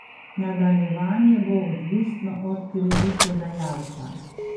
Nadaljevanje bo odvisno od kreditodajalca.